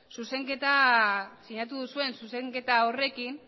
sinatu duzuen zuzenketa horrekin